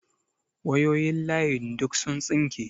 Wayoyin layin duk sun tsinke.